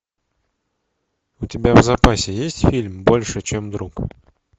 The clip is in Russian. у тебя в запасе есть фильм больше чем друг